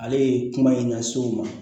Ale ye kuma in lase u ma